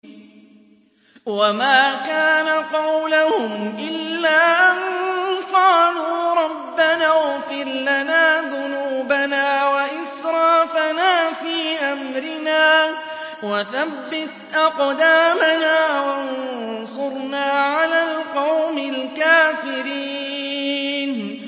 وَمَا كَانَ قَوْلَهُمْ إِلَّا أَن قَالُوا رَبَّنَا اغْفِرْ لَنَا ذُنُوبَنَا وَإِسْرَافَنَا فِي أَمْرِنَا وَثَبِّتْ أَقْدَامَنَا وَانصُرْنَا عَلَى الْقَوْمِ الْكَافِرِينَ